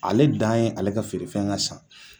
Ale dan ye ale ka feerefɛn ka san